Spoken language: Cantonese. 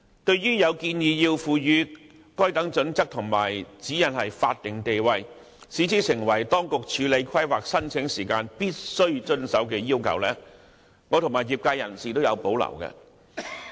對於有建議賦予《規劃標準》和《指引》法定地位，規定當局處理規劃申請時必須遵從，我和業界均有保留。